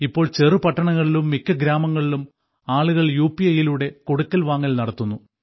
ഇപ്പോൾ ചെറുപട്ടണങ്ങളിലും മിക്ക ഗ്രാമങ്ങളിലും ആളുകൾ യു പി ഐയിലൂടെ കൊടുക്കൽവാങ്ങൽ നടത്തുന്നു